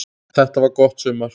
Þetta var gott sumar.